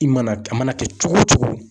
I mana a mana kɛ cogo o cogo.